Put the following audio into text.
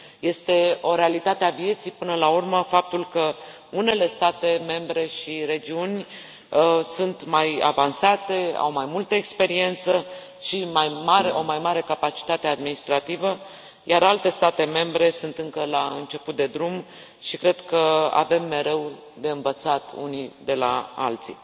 Este o realitate a vieții, până la urmă, faptul că unele state membre și regiuni sunt mai avansate, au mai multă experiență și o mai mare capacitate administrativă, iar alte state membre sunt încă la început de drum și cred că avem mereu de învățat unii de la alții.